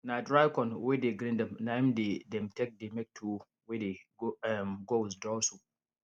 na dry corn wey dey grind na im dey dem take dey make tuwo wey dey um go with draw soup